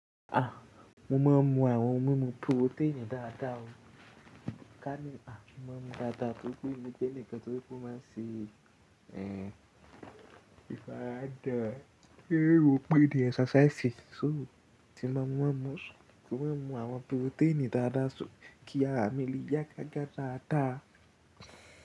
Ah! Mo máa ń mu àwọn ohun mímu protein dáadáa o. Ká ní, ah! Mo máa ń mu dáadáa nítorí mo jé nǹkan tó máa ń ṣe, ẹ, ìfaradà. Kíni wípé di exercise ṣóò ti máa ń mú, ti máa ń mu àwọn protein dáadáa sókì, àmì lè yá gágá dáadáa.